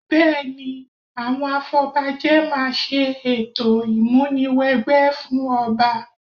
Bẹ́ẹ̀ni, àwọn afọbajẹ máa ṣe ètò ìmúni wẹgbẹ́ fún ọba